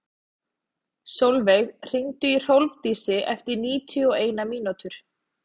Solveig, hringdu í Hrólfdísi eftir níutíu og eina mínútur.